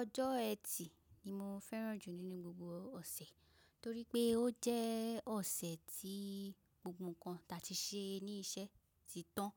Ọjọ́ ẹtì ni mo fẹ́ràn jù nínú gbogbo ọ̀sẹ̀, torípé ó jẹ́ ọ̀sẹ̀ tí gbogbo ǹkan ta ti ṣe ní iṣẹ́ ti tán,